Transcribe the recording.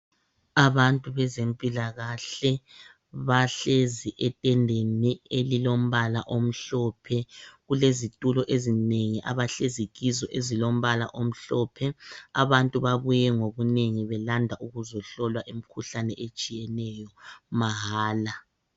Abantu bezempilakahle bahlezi etendeni elilombala omhlophe. Kulezitulo ezimbili abahlezi kizo ezilombala omhlophe. Abantu babuye ngobunengi belanda ukuzohlolwa imikhuhlane etshiyeneyo mahala.